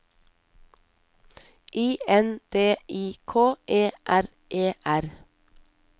I N D I K E R E R